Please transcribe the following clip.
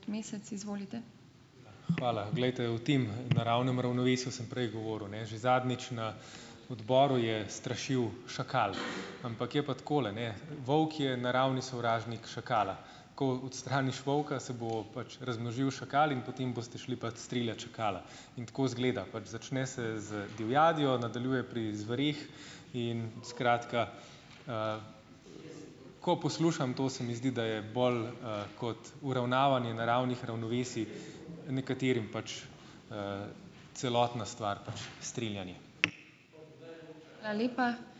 Hvala. Glejte, o tem naravnem ravnovesju sem prej govoril, ne. Že zadnjič na odboru je strašil šakal, ampak, je pa takole, ne. Volk je naravni sovražnik šakala. Ko odstraniš volka, se bo pač razmnožil šakal in potem boste šli pač streljat šakala in tako izgleda pač, začne se z divjadjo, nadaljuje pri zvereh in, skratka, ko poslušam to, se mi zdi, da je bolj kot uravnavanje naravnih ravnovesij nekaterim pač, celotna stvar pač strinjanje.